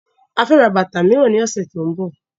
A fẹ́ ra bàtà miran ní ọ̀sẹ̀ tí ó ń bọ̀.